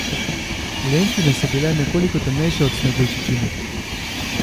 Lenkine so bile nekoliko temnejše od Sneguljčičinih.